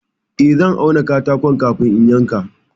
Eh, zan auna katakon kafin in yanka.